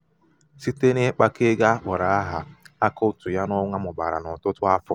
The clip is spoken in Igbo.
site n'ịkpakọ ego akpọrọ áhà akaụtụ ya n'ọnwa mụbara n'ọtụtụ afọ.